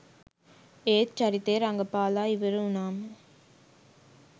ඒත් චරිතය රඟපාලා ඉවර වුණාම